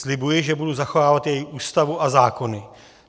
Slibuji, že budu zachovávat její Ústavu a zákony.